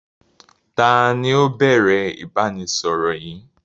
Taàní ó bẹ̀rẹ̀ ìbánisọọ̀rọ̀ yìí?